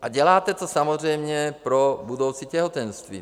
A děláte to samozřejmě pro budoucí těhotenství.